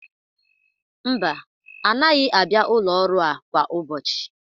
Mba, anaghị abịa ụlọ ọrụ a kwa ụbọchị.